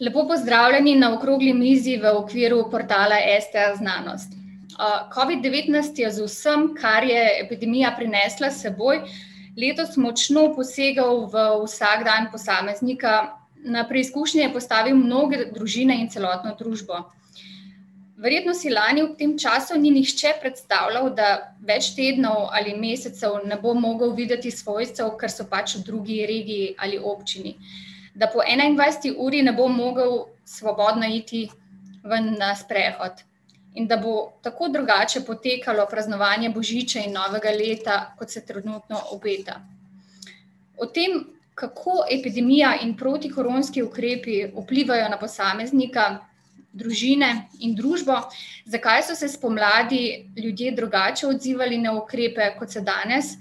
Lepo pozdravljeni na okrogli mizi v okviru portala STAznanost. covid-devetnajst je z vsem, kar je epidemija prinesla s seboj, letos močno posegel v vsakdan posameznika, na preizkušnje postavil mnoge družine in celotno družbo. Verjetno si lani ob tem času ni nihče predstavljal, da več tednov ali mesecev ne bo mogel videti svojcev, ker so pač v drugi regiji ali občini. Da po enaindvajseti uri ne bo mogel svobodno iti ven na sprehod. In da bo tako drugače potekalo praznovanje božiča in novega leta, kot se trenutno obeta. O tem, kako epidemija in protikoronski ukrepi vplivajo na posameznika, družine in družbo, zakaj so se spomladi ljudje drugače odzivali na ukrepe, kot se danes,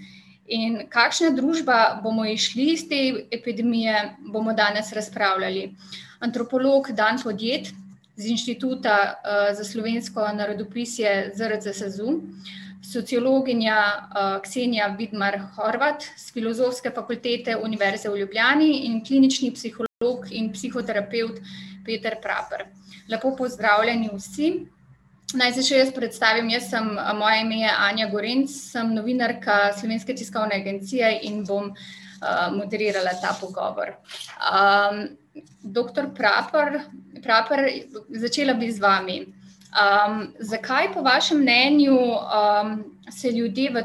in kakšna družba bomo izšli iz te epidemije, bomo danes razpravljali. Antropolog Dan Podjed z Inštituta, za slovensko narodopisje ZRC SAZU, sociologinja, Ksenija Vidmar Horvat, s Filozofske fakultete Univerze v Ljubljani in klinični psiholog in psihoterapevt Peter Praper. Lepo pozdravljeni vsi. Naj se še jaz predstavim, jaz sem, moje ime je [ime in priimek] , sem novinarka Slovenske tiskovne agencije in bom, moderirala ta pogovor. doktor Praper, Praper, začela bi z vami. zakaj po vašem mnenju, se ljudje v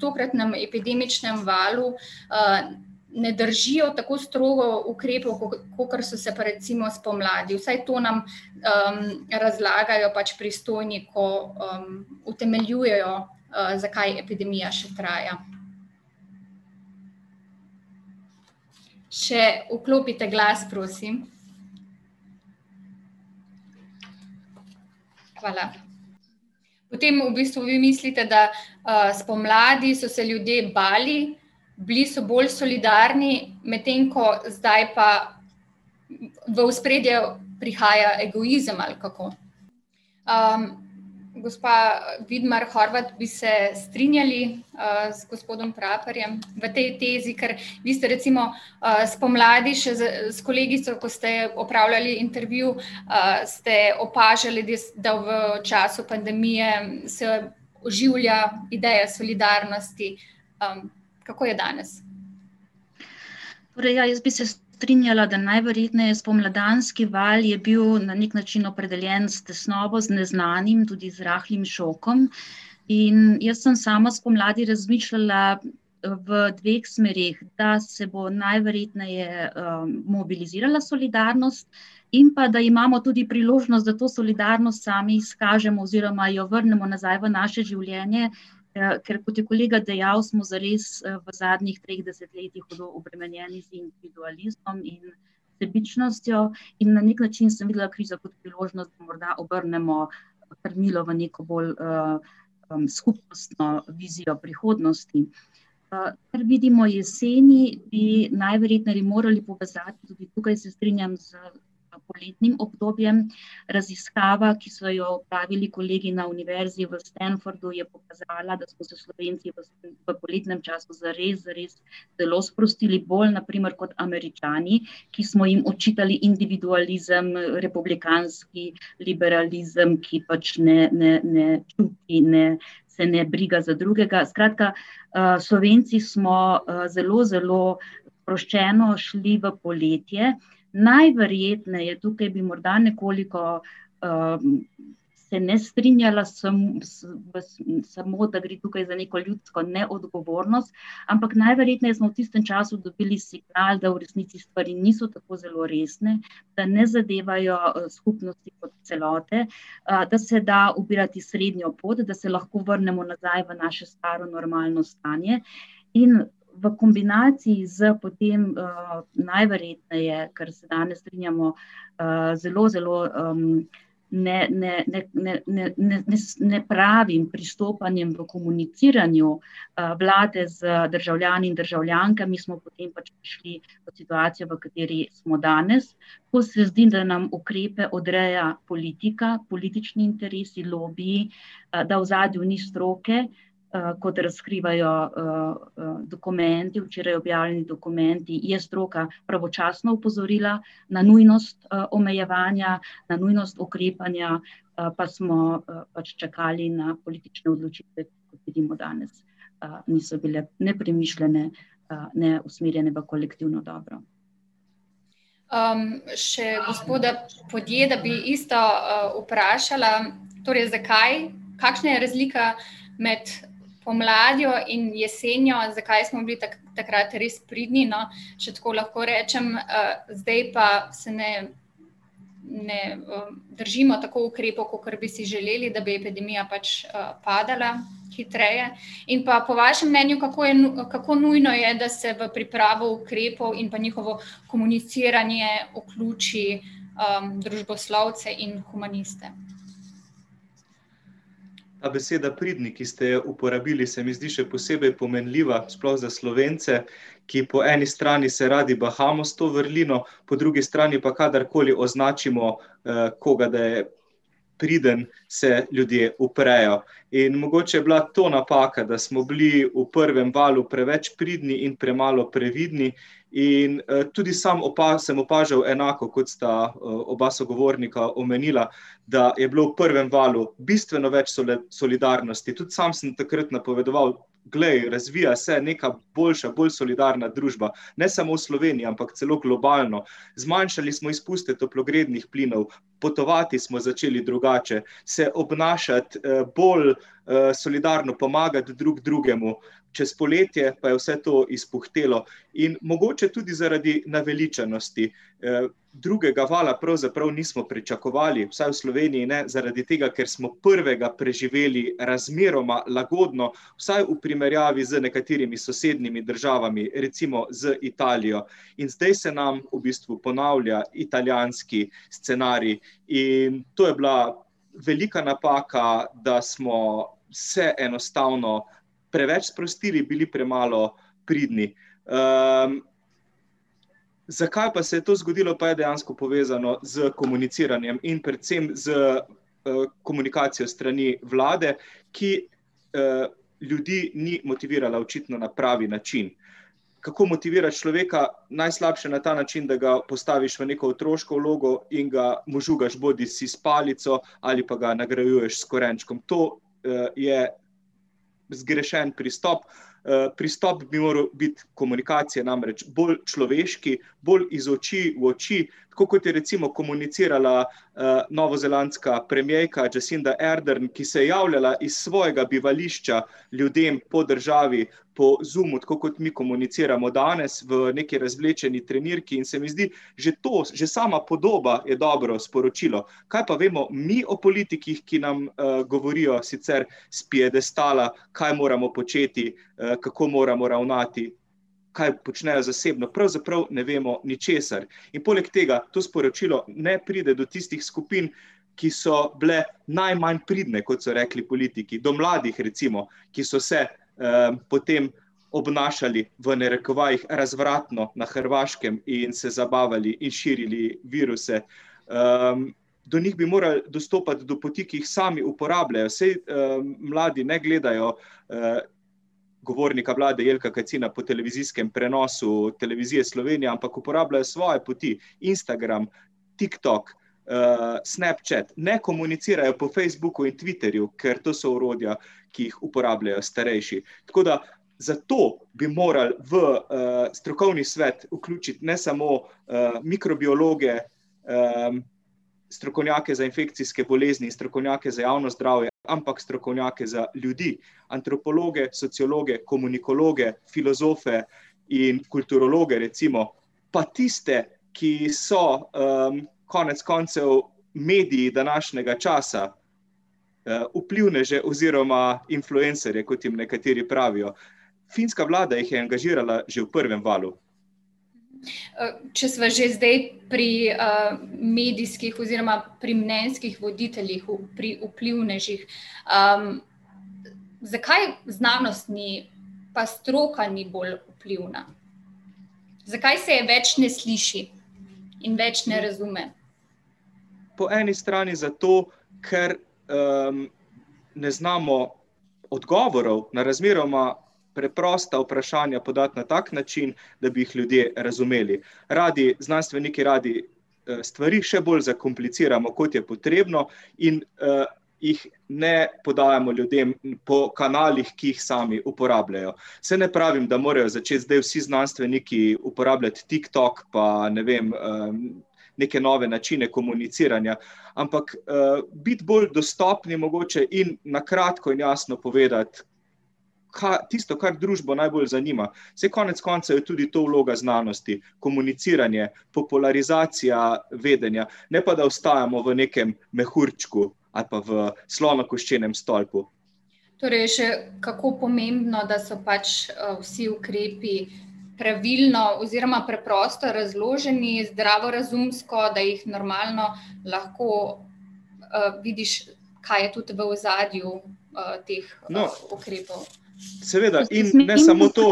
tokratnem epidemičnem valu, ne držijo tako strogo ukrepov kakor so se pa recimo spomladi, vsaj to nam, razlagajo pač pristojni, ko, utemeljujejo, zakaj epidemija še traja. Še vklopite glas, prosim. Hvala. Potem v bistvu vi mislite, da, spomladi so se ljudje bali, bili so bolj solidarni, medtem ko zdaj pa v ospredje prihaja egoizem, ali kako? gospa Vidmar Horvat, bi se strinjali, z gospodom Praperjem v tej tezi, ker vi ste recimo, spomladi še s kolegico, ko ste opravljali intervju, ste opažali res, da v času pandemije se oživlja ideja solidarnosti, kako je danes? Torej, ja, jaz bi se strinjala, da najverjetneje spomladanski val je bil na neki način opredeljen s tesnobo, z neznanim, tudi z rahlim šokom, in jaz sem sama spomladi razmišljala, v dveh smereh. Da se bo najverjetneje, mobilizirala solidarnost in pa da imamo tudi priložnost, da to solidarnost sami izkažemo oziroma jo vrnemo nazaj v naše življenje, ker kot je kolega dejal, smo zares, v zadnjih dveh desetletjih hudo obremenjeni z individualizmom in sebičnostjo, in na neki način sem videla krizo kot priložnost, da morda obrnemo krmilo v neko bolj, skupnostno vizijo prihodnosti. kar vidimo jeseni, bi najverjetneje morali pokazati, tukaj se strinjam, s poletnim obdobjem, raziskava, ki so jo opravili kolegi na univerzi v Stanfordu, je pokazala, da so se Slovenci v poletnem času zares, zares zelo sprostili, bolj na primer kot Američani, ki smo jim očitali individualizem, republikanski liberalizem, ki pač ne, ne, ne, ki ne, se ne briga za drugega, skratka, Slovenci smo, zelo zelo sproščeno šli v poletje. Najverjetneje, tukaj bi morda nekoliko, se ne strinjala samo, da gre tukaj za neko ljudsko neodgovornost, ampak najverjetneje smo v tistem času dobili signal, da v resnici stvari niso tako zelo resne, da ne zadevajo, skupnosti kot celote, da se da ubirati srednjo pot, da se lahko vrnemo nazaj v naše staro normalno stanje, in v kombinaciji s potem, najverjetneje, kar se danes strinjamo, zelo zelo, ne, ne, ne, ne, ne, ne, ne, z nepravim pristopanjem v komuniciranju, vlade z državljani in državljankami, smo potem pač prišli v situacijo, v kateri smo danes. Ko se zdi, da nam ukrepe odreja politika, politični interesi, lobiji, da v ozadju ni stroke, kot razkrivajo, dokumenti, včeraj objavljeni dokumenti, je stroka pravočasno opozorila na nujnost, omejevanja, na nujnost ukrepanja, pa smo, pač čakali na politične odločitve potem do danes. in so bile nepremišljene, neusmerjene v kolektivno dobro. še gospoda Podjeda bi isto, vprašala, torej zakaj, kakšna je razlika med pomladjo in jesenjo, zakaj smo bili takrat res pridni, no, če tako lahko rečem, zdaj pa se ne, ne, držimo tako ukrepov, kakor bi si želeli, da bi epidemija pač, padala hitreje. In pa po vašem mnenju, kako je kako nujno je, da se v pripravo ukrepov in pa njihovo komuniciranje vključi, družboslovce in humaniste? Ta beseda pridni, ki ste jo uporabili, se mi zdi še posebej pomenljiva, sploh za Slovence, ki po eni strani se radi bahamo s to vrlino, po drugi strani, pa kadarkoli označimo, koga, da je priden, se ljudje uprejo. In mogoče je bila to napaka, da smo bili v prvem valu preveč pridni in premalo previdni, in, tudi sam sem opažal enako, kot sta, oba sogovornika omenila, da je bilo v prvem valu bistveno več solidarnosti, tudi sam sem takrat napovedoval, glej, razvija se nekaj boljša, bolj solidarna družba, ne samo v Sloveniji, ampak celo globalno. Zmanjšali smo izpuste toplogrednih plinov, potovati smo začeli drugače, se obnašati, bolj, solidarno pomagati drug drugemu ... čez poletje pa je vse to izpuhtelo in mogoče tudi zaradi naveličanosti. drugega vala pravzaprav nismo pričakovali, vsaj v Sloveniji ne, zaradi tega, ker smo prvega preživeli razmeroma lagodno, vsaj v primerjavi z nekaterimi sosednjimi državami, recimo z Italijo. In zdaj se nam v bistvu ponavlja italijanski scenarij. In to je bila velika napaka, da smo se enostavno preveč sprostili, bili premalo pridni. zakaj pa se je to zgodilo, pa je dejansko povezano s komuniciranjem in predvsem s, komunikacijo s strani vlade, ki, ljudi ni motivirala očitno na pravi način. Kako motivirati človeka? Najslabše na ta način, da ga postaviš v neko otroško vlogo in ga, mu žugaš bodisi s palico, ali pa ga nagrajuješ s korenčkom. To, je zgrešen pristop. pristop bi moral biti, komunikacija namreč bolj človeški, bolj iz oči v oči, tako kot je recimo komunicirala, novozelandska premierka Jacinda Ardern, ki se javljala iz svojega bivališča ljudem po državi, po Zoomu, tako kot mi komuniciramo danes, v neki razvlečeni trenirki. In se mi zdi, že to, že sama podoba je dobro sporočilo. Kaj pa vemo mi o politikih, ki nam, govorijo sicer s piedestala, kaj moramo početi, kako moramo ravnati, kaj počnejo zasebno, pravzaprav ne vemo ničesar. In poleg tega to sporočilo ne pride do tistih skupin, ki so bile najmanj pridne, kot so rekli politiki, do mladih recimo, ki so se, potem obnašali, v narekovajih, razvratno na Hrvaškem in se zabavali in širili viruse. do njih bi morali dostopati do poti, ki jih sami uporabljajo, saj, mladi ne gledajo, govornika vlade Jelka Kacina po televizijskem prenosu Televizije Slovenija, ampak uporabljajo svoje poti. Instagram, TikTok, Snapchat, ne komunicirajo po Facebooku in Twitterju, ker to so orodja, ki jih uporabljajo starejši. Tako da zato bi morali v, strokovni svet vključiti ne samo, mikrobiologe, strokovnjake za infekcijske bolezni in strokovnjake za javno zdravje, ampak strokovnjake za ljudi: antropologe, sociologe, komunikologe, filozofe in kulturologe, recimo. Pa tiste, ki so, konec koncev mediji današnjega časa. vplivneže oziroma influencerje, kot jim nekateri pravijo. Finska vlada jih je angažirala že v prvem valu. če sva že zdaj pri, medijskih oziroma pri mnenjskih voditeljih, pri vplivnežih. zakaj znanost ni pa stroka ni bolj vplivna? Zakaj se je več ne sliši in več ne razume? Po eni strani zato, ker, ne znamo odgovorov na razmeroma preprosta vprašanja podati na tak način, da bi jih ljudje razumeli. Radi, znanstveniki radi, stvari še bolj zakompliciramo, kot je potrebno, in, jih ne podajamo ljudem po kanalih, ki jih sami uporabljajo. Saj ne pravim, da morajo začeti zdaj vsi znanstveniki uporabljati TikTok pa, ne vem, neke nove načine komuniciranja. Ampak, biti bolj dostopni mogoče in na kratko, jasno povedati, tisto, kar družbo najbolj zanima. Saj konec koncev je tudi to vloga znanosti. Komuniciranje, popularizacija vedenja, ne pa da ostajamo v nekem mehurčku ali pa v slonokoščenem stolpu. Torej je še kako pomembno, da so pač, vsi ukrepi pravilno oziroma preprosto razloženi, zdravorazumsko, da jih normalno lahko vidiš, kaj je tudi v ozadju, teh, ukrepov. Seveda, in ne samo to,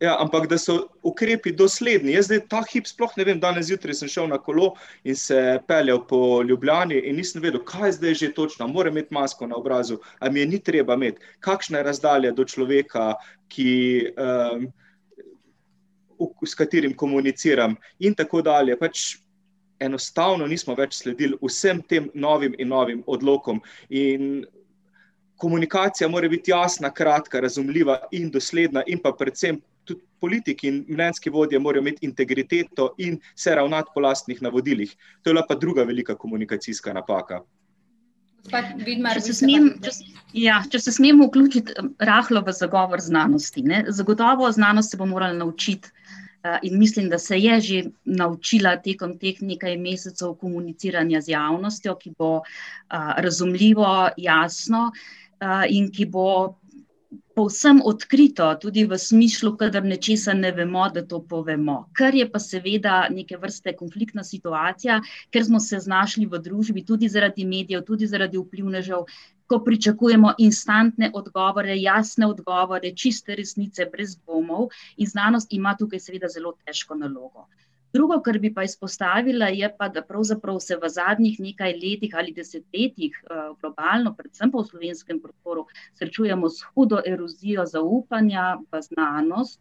ja, ampak da so ukrepi dosledni. Jaz zdaj ta hip sploh ne vem, danes zjutraj sem šel na kolo in se peljal po Ljubljani in nisem vedel, kaj zdaj že točno, a moram imeti masko na obrazu, a mi je ni treba imeti. Kakšna je razdalja do človeka, ki, s katerim komuniciram. In tako dalje, pač, enostavno nismo več sledili vsem tem novim in novim odlokom. In komunikacija mora biti jasna, kratka, razumljiva in dosledna in pa predvsem tudi politiki in mnenjski vodja morajo imeti integriteto in se ravnati po lastnih navodilih. To je bila pa druga velika komunikacijska napaka. Gospa Vidmar ... Če se smem ... Ja, če se smem vključiti rahlo v zagovor znanosti, ne. Zagotovo znanost se bo morala naučiti, in mislim, da se je že naučila tekom teh nekaj mesecev komuniciranja z javnostjo, ki bo, razumljivo, jasno, in ki bo povsem odkrito, tudi v smislu, kadar nečesa ne vemo, da to povemo. Kar je pa seveda neke vrste konfliktna situacija, ker smo se znašli v družbi tudi zaradi medijev, tudi zaradi vplivnežev, ko pričakujemo instantne odgovore, jasne odgovore, čiste resnice brez dvomov. In znanost ima tukaj seveda zelo težko nalogo. Drugo, kar bi pa izpostavila, je pa, da pravzaprav se v zadnjih nekaj letih ali desetletjih, globalno, predvsem pa v slovenskem prostoru, srečujemo s hudo erozijo zaupanja, pa znanost,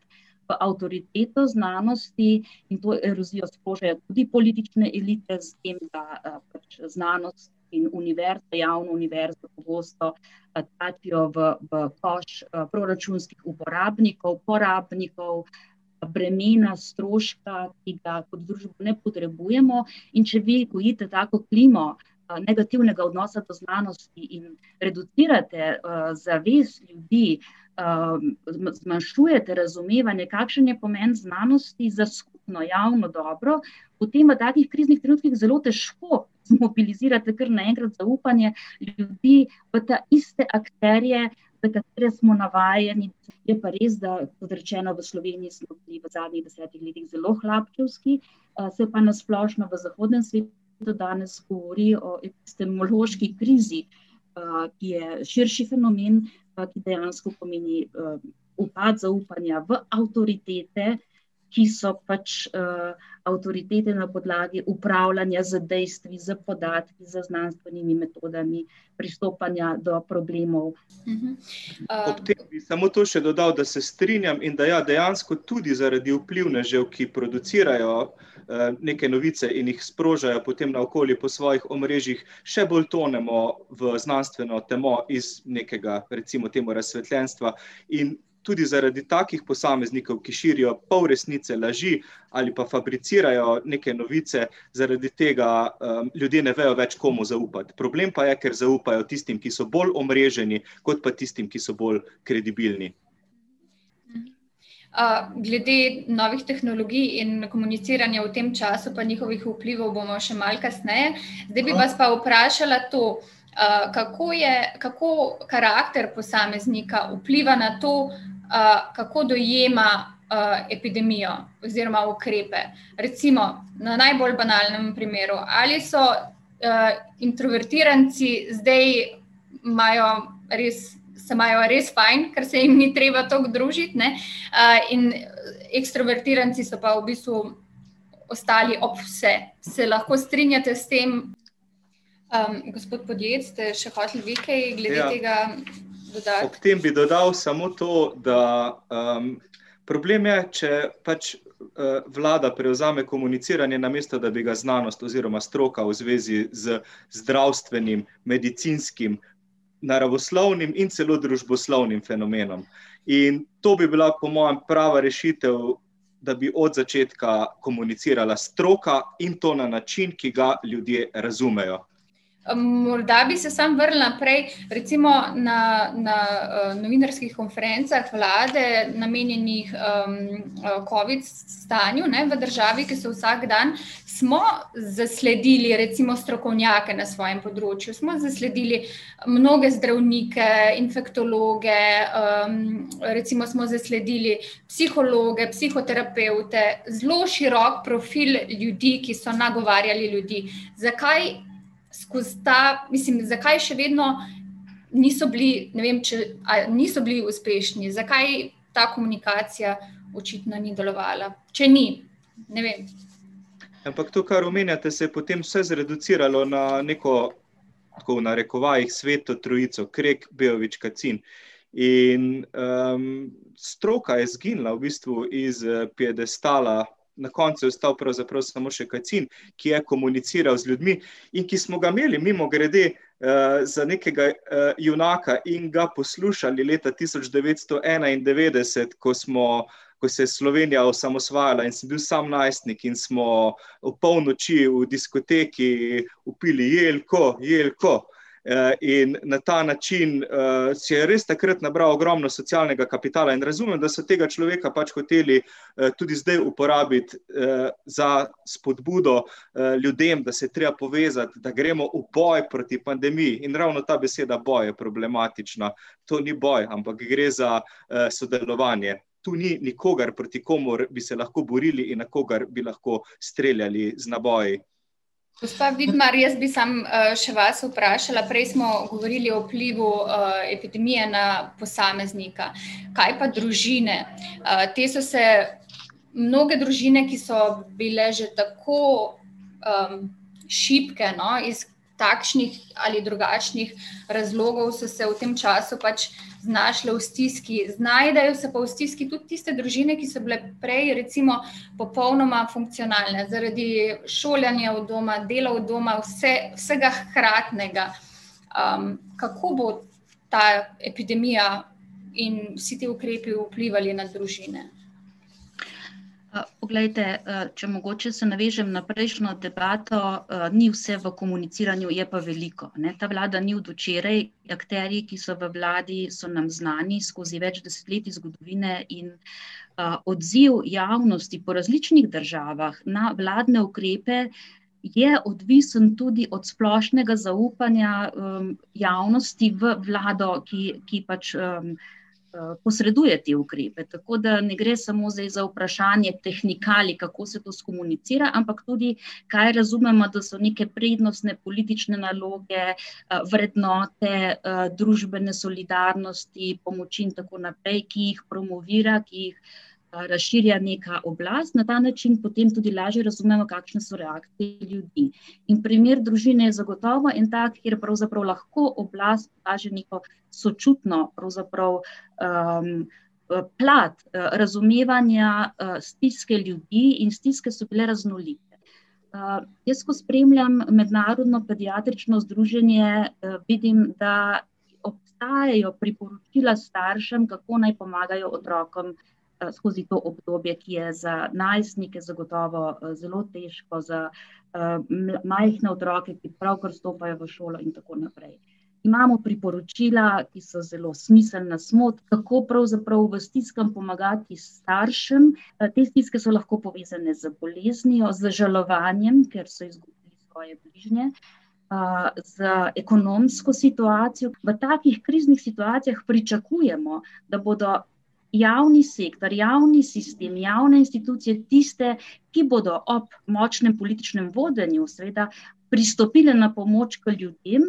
pa avtoriteta znanosti, in to erozijo sprožajo tudi politične elite, s tem da, da znanost in univerze, javne univerze pogosto v, v koš, proračunskih uporabnikov, porabnikov, bremena, stroška, ki ga kot družba ne potrebujemo. In če vi gojite tako klimo, negativnega odnosa do znanosti in reducirate, zavest ljudi, zmanjšujete razumevanje, kakšen je pomen znanosti za skupno javno dobro, potem v takih kriznih trenutkih zelo težko mobilizirate kar naenkrat zaupanje ljudi v taiste akterje, za katere smo navajeni. Je pa res, da, kot rečeno, v Sloveniji smo bili v zadnjih desetih letih zelo hlapčevski. se pa na splošno v zahodnem svetu do danes govori o epistemološki krizi, ki je širši fenomen, pa dejansko pomeni, upad zaupanja v avtoritete, ki so pač, avtoritete na podlagi upravljanja z dejstvi, s podatki, z znanstvenimi metodami pristopanja do problemov. Ob tem bi samo to še dodal, da se strinjam in da ja, dejansko tudi zaradi vplivnežev, ki producirajo, neke novice, in jih sprožajo nekje naokoli po svojih omrežjih, še bolj tonemo v znanstveno temo iz nekega, recimo temu, razsvetljenstva. In tudi zaradi takih posameznikov, ki širijo polresnice, laži ali pa fabricirajo neke novice, zaradi tega, ljudje ne vejo več, komu zaupati. Problem pa je, ker zaupajo tistim, ki so bolj omreženi, kot pa tistim, ki so bolj kredibilni. glede novih tehnologij in komuniciranja v tem času pa njihovih vplivov bomo še malo kasneje, zdaj bi vas pa vprašala to, kako je, kako karakter posameznika vpliva na to, kako dojema, epidemijo oziroma ukrepe? Recimo, na najbolj banalnem primeru: ali so, introvertiranci zdaj, imajo res, se imajo res fajn, ker se jim ni treba toliko družit, ne, in ekstrovertiranci so pa v bistvu ostali ob vse. Se lahko strinjate s tem? gospod Podjed, ste še hoteli vi kaj glede tega dodati? Ob tem bi dodal samo to, da, problem je, če pač, vlada prevzame komuniciranje, namesto da bi ga znanost oziroma stroka v zvezi z zdravstvenim, medicinskim, naravoslovnim in celo družboslovnim fenomenom. In to bi bila po mojem prava rešitev, da bi od začetka komunicirala stroka in to na način, ki ga ljudje razumejo. morda bi se samo vrnila prej recimo na, na, novinarskih konferencah vlade, namenjenih, covid stanju, ne, v državi, ki se vsak dan ... Smo zasledili recimo strokovnjake na svojem področju, smo zasledili mnoge zdravnike, infektologe, recimo smo zasledili psihologe, psihoterapevte ... Zelo širok profil ljudi, ki so nagovarjali ljudi. Zakaj skozi ta, mislim, zakaj še vedno niso bili, ne vem, če, a niso bili uspešni? Zakaj ta komunikacija očitno ni delovala? Če ni? Ne vem. Ampak to, kar omenjate, se je potem vse zreduciralo na neko, tako, v narekovajih, sveto trojico: Krek, Beović, Kacin. In, stroka je izginila v bistvu iz piedestala. Na koncu je ostal pravzaprav samo še Kacin, ki je komuniciral z ljudmi in ki smo ga imeli mimogrede, za nekega, junaka in ga poslušali leta tisoč devetsto enaindevetdeset, ko smo, ko se je Slovenija osamosvajala in sem bil samo najstnik in smo opolnoči v diskoteki vpili: "Jelko! Jelko!" in na ta način, si je res takrat nabral ogromno socialnega kapitala in razumem, da so tega človeka pač hoteli, tudi zdaj uporabiti, za spodbudo, ljudem, da se je treba povezati, da gremo v boj proti pandemiji. In ravno ta beseda, boj, je problematična. To ni boj, ampak gre za, sodelovanje. To ni nikogar, proti komur bi se lahko borili in na kogar bi lahko streljali z naboji. Gospa Vidmar, jaz bi samo, še vas vprašala, prej smo govorili o vplivu, epidemije na posameznika. Kaj pa družine? te so se ... Mnoge družine, ki so bile že tako, šibke, no, iz takšnih ali drugačnih razlogov so se v tem času pač znašle v stiski. Znajdejo se pa v stiski tudi tiste družine, ki so bile prej recimo popolnoma funkcionalne. Zaradi šolanja od doma, delo od doma, vse, vsega hkratnega. kako bo ta epidemija in vsi ti ukrepi vplivali na družine? poglejte, če mogoče se navežem na prejšnjo debato, ni vse v komuniciranju, je pa veliko, ne, ta vlada ni od včeraj, akterji, ki so v vladi, so nam znani skozi več desetletij zgodovine, in, odziv javnosti po različnih državah na vladne ukrepe je odvisen tudi od splošnega zaupanja, javnosti v vlado, ki, ki pač, posreduje te ukrepe. Tako da ne gre samo zdaj za vprašanje tehnikalij, kako se to skomunicira, ampak tudi kaj razumemo, da so neke prednostne politične naloge, vrednote, družbene solidarnosti, pomoči in tako naprej, ki jih promovira, ki jih, razširja neka oblast, na ta način potem tudi lažje razumemo, kakšne so reakcije ljudi. In primer družine je zagotovo en tak, kjer pravzaprav lahko oblast kaže neko sočutno pravzaprav, plat, razumevanja, stiske ljudi, in stiske so bile raznolike. jaz, ko spremljam mednarodno pediatrično združenje, vidim, da obstajajo priporočila staršem, kako naj pomagajo otrokom, skozi to obdobje, ki je za najstnike zagotovo, zelo težko, za, majhne otroke, ki pravkar vstopajo v šolo in tako naprej. Imamo priporočila, ki so zelo smiselna, kako pravzaprav v stiskah pomagati staršem, te stiske so lahko povezane z boleznijo, z žalovanjem, ker so izgubili svoje bližnje. za ekonomsko situacijo, ki pa v takih kriznih situacijah pričakujemo, da bodo javni sektor, javni sistem, javne institucije tiste, ki bodo ob močnem političnem vodenju, seveda, pristopile na pomoč k ljudem,